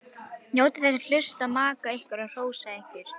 Njótið þess að hlusta á maka ykkar hrósa ykkur.